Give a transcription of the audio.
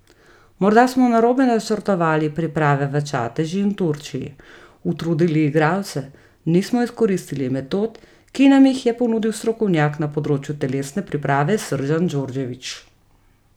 Morda smo narobe načrtovali priprave v Čatežu in Turčiji, utrudili igralce, nismo izkoristili metod, ki nam jih je ponudil strokovnjak na področju telesne priprave Srdjan Djordjević.